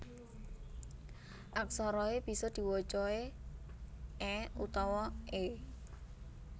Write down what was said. Aksara e bisa diwaca e é utawa è